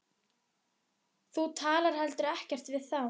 Þú talar heldur ekkert við þá.